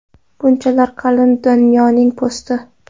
Bunchalar qalin Dunyoning po‘sti.